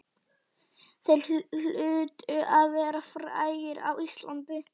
Þeir hlutu að vera frægir á Íslandi.